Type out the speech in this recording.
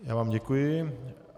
Já vám děkuji.